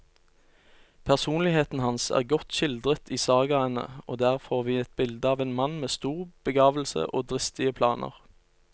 Personligheten hans er godt skildret i sagaene, og der får vi et bilde av en mann med stor begavelse og dristige planer.